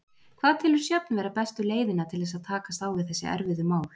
Hvað telur Sjöfn vera bestu leiðina til þess að takast á við þessi erfiðu mál?